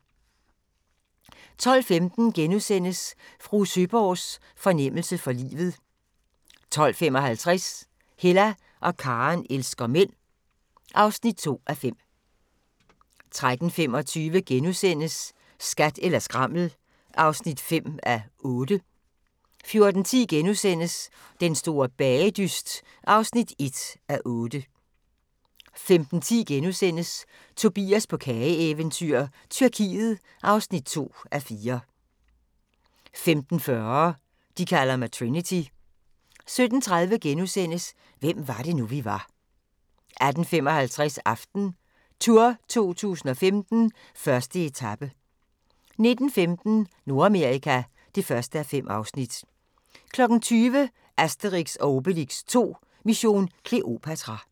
12:15: Fru Søeborgs fornemmelse for livet * 12:55: Hella og Karen elsker mænd (2:5) 13:25: Skat eller skrammel (5:8)* 14:10: Den store bagedyst (1:8)* 15:10: Tobias på kageeventyr – Tyrkiet (2:4)* 15:40: De kalder mig Trinity 17:30: Hvem var det nu, vi var * 18:55: AftenTour 2015: 1. etape 19:15: Nordamerika (1:5) 20:00: Asterix & Obelix 2: Mission Kleopatra